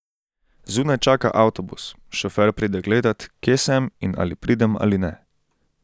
Zunaj čaka avtobus, šofer pride gledat, kje sem in ali pridem ali ne.